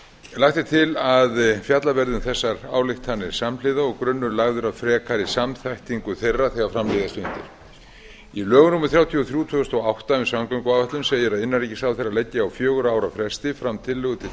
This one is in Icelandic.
lagt er til að fjallað verði um þessar ályktanir samhliða og grunnur lagður að frekari samþættingu þeirra þegar fram líða stundir í lögum númer þrjátíu og þrjú tvö þúsund og átta um samgönguáætlun segir að innanríkisráðherra leggi á fjögurra ára fresti fram tillögu til